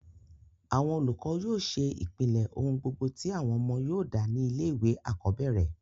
àwọn olùkọ́ yóò ṣe ìpìlẹ̀ ohùn gbogbo tí àwọn ọmọ yóò dà ní ilé ìwé àkọ́bẹ̀rẹ̀